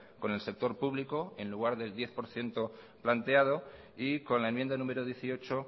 con el sector público en lugar del diez por ciento planteado y con la enmienda número dieciocho